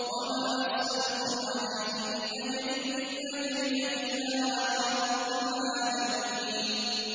وَمَا أَسْأَلُكُمْ عَلَيْهِ مِنْ أَجْرٍ ۖ إِنْ أَجْرِيَ إِلَّا عَلَىٰ رَبِّ الْعَالَمِينَ